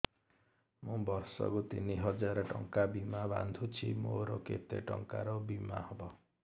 ମୁ ବର୍ଷ କୁ ତିନି ହଜାର ଟଙ୍କା ବୀମା ବାନ୍ଧୁଛି ମୋର କେତେ ଟଙ୍କାର ବୀମା ହବ